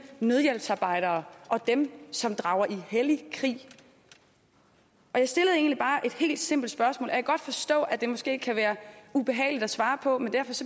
nødhjælpsarbejdere og dem som drager i hellig krig jeg stillede egentlig bare et helt simpelt spørgsmål kan godt forstå at det måske kan være ubehageligt at svare på men